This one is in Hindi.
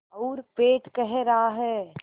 और पेट कह रहा है